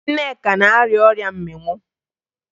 Nneka na-arịa ọrịa mmịnwụ